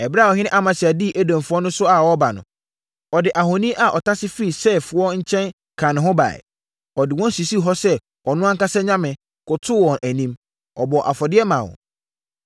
Ɛberɛ a ɔhene Amasia dii Edomfoɔ so a ɔreba no, ɔde ahoni a ɔtase firii Seirfoɔ nkyɛn kaa ne ho baeɛ. Ɔde wɔn sisii hɔ sɛ ɔno ankasa anyame, kotoo wɔn anim, bɔɔ afɔdeɛ maa wɔn.